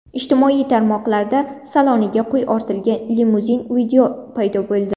Ijtimoiy tarmoqlarda saloniga qo‘y ortilgan limuzin video paydo bo‘ldi.